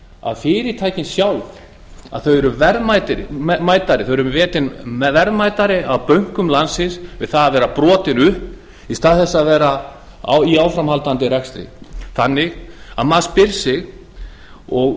að fyrirtækin sjálf eru metin verðmætari af bönkum landsins við það að vera brotin upp í stað þess að vera í áframhaldandi rekstri maður spyr sig því og